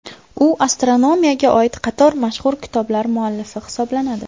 U astronomiyaga oid qator mashhur kitoblar muallifi hisoblanadi.